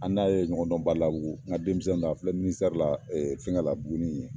An n'a ye ɲɔgɔn dɔn Badalabugu n ka denmisɛnnin don a filɛ la, Ɛɛ fɛngɛ la Buguni yen.